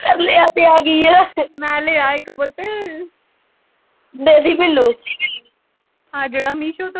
ਤਰਲਿਆਂ ਤੇ ਆਗੀ ਆ ਮੈਂ ਲਿਆ ਇੱਕ ਪੁੱਤ ਆਹ ਜਿਹੜਾ ਮੀਸ਼ੋ ਤੋਂ।